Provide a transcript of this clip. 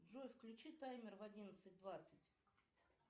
джой включи таймер в одиннадцать двадцать